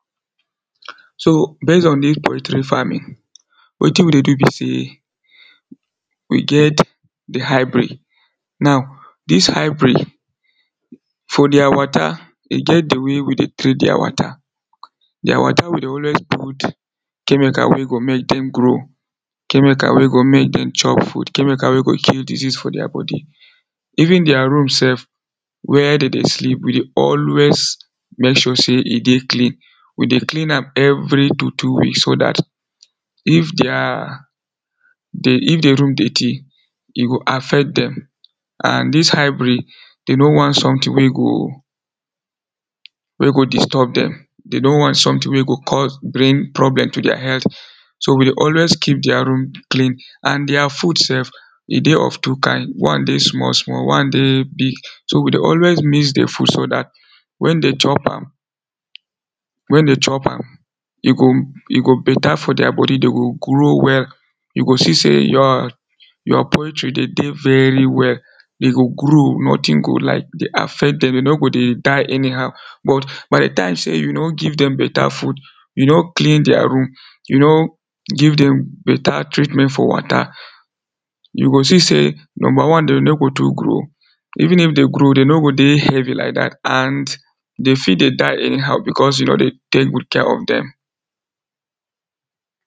So base on dis poultry farming wetin we dey do be sey we get di hybrid. Now dis hybrid For dia wata, e get di way we dey treat dia wata, dia wata we dey always put chemical wey dey make dem grow, chemical wey go make dem chop food, chemical wey go kill disease for their body Even their room self where dem dey sleep, we dey always make sure sey e dey clean. We dey clean am every two two weeks so dat if their if di room dirty, e go affect dem and dis hybrid, dem no want something wey go wey go disturb dem dem no want something wey go come bring problem to their health so we dey always keep their room clean and their food self e dey of two kind, one dey small small, one dey big. So we dey always mix di food so dat wen dem chop am, wen dem chop am e go better for their body, dem go grow well You go see sey your your poultry dey dey very well Dey go grow, nothing go like dey affect dem, dem no go dey die anyhow, but by di time sey you no give dem better food you no clean their room, you no give dem better treatment for water you go see sey, number one dem no go too grow even if dem grow, dey no go dey heavy like dat and dem fit dey die anyhow, because you no dey take good care of dem